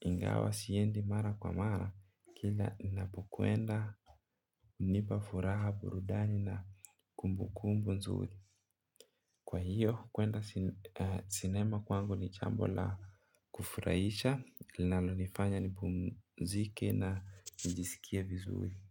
Ingawa siendi mara kwa mara kila ninapo kwenda hunipa furaha burudani na kumbu kumbu nzuri. Kwa hiyo kwenda sinema kwangu ni jaambo la kufurahisha linalonifanya nipumzike na nijisikie vizuri Muzika.